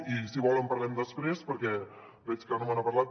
i si vol en parlem després perquè veig que no me n’ha parlat